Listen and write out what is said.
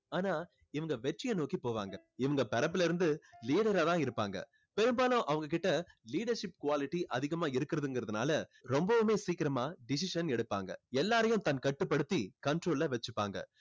ஆனா இவங்க வெற்றியை நோக்கி போவாங்க. இவங்க பிறப்பிலிருந்து leader ஆ தான் இருப்பாங்க. பெரும்பாலும் அவங்க கிட்ட leadership quality அதிகமா இருக்குறதுங்குறதுனால ரொம்பவே சீக்கிரமா decision எடுப்பாங்க. எல்லாரையும் தன் கட்டுப்படுத்தி control ல வச்சுப்பாங்க.